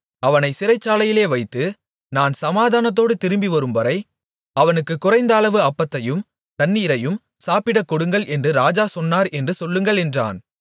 அவனைச் சிறைச்சாலையிலே வைத்து நான் சமாதானத்தோடு திரும்பிவரும்வரை அவனுக்குக் குறைந்த அளவு அப்பத்தையும் தண்ணீரையும் சாப்பிடக் கொடுங்கள் என்று ராஜா சொன்னார் என்று சொல்லுங்கள் என்றான்